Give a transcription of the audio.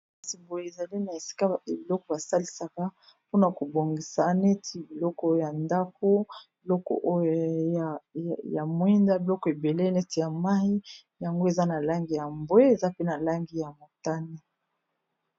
Kasi boye ezali na esika bate biloko basalisaka mpona kobongisa neti biloko ya ndako biloko oyo ya mwinda biloko ebele neti ya mayi yango eza na langi ya mbwe eza pena langi ya motane